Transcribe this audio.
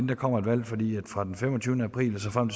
der kommer et valg for fra den femogtyvende april og så frem